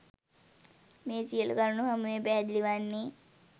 මේ සියලු කරුණු හමුවේ පැහැදිලි වන්නේ